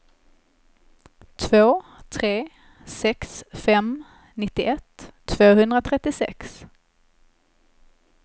två tre sex fem nittioett tvåhundratrettiosex